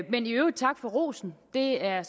men i øvrigt tak for rosen det er